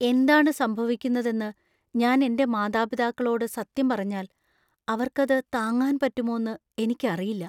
എന്താണ് സംഭവിക്കുന്നതെന്ന് ഞാൻ എന്‍റെ മാതാപിതാക്കളോട് സത്യം പറഞ്ഞാൽ അവർക്ക് അത് താങ്ങാൻ പറ്റുമോന്ന് എനിക്ക് അറിയില്ല.